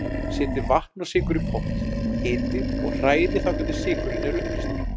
Setjið vatn og sykur í pott, hitið og hrærið þangað til sykurinn er uppleystur.